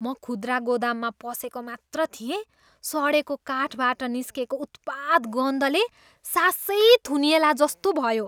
म खुद्रा गोदाममा पसेको मात्र थिएँ, सडेको काठबाट निस्केको उत्पात गन्धले सासै थुनिएलाजस्तो भयो।